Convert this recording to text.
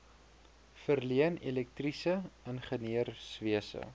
verleen elektriese ingenieurswese